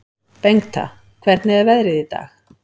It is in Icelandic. Bengta, hvernig er veðrið í dag?